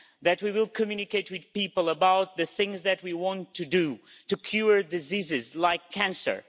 That we will communicate with people about the things that we want to do to cure diseases like cancer.